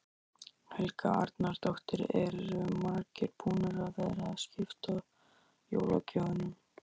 Helga Arnardóttir: Eru margir búnir að vera að skipta jólagjöfunum?